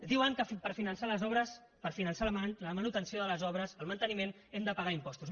diuen que per finançar les obres per finançar la manutenció de les obres el manteniment hem de pagar impostos